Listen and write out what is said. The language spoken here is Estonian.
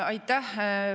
Aitäh!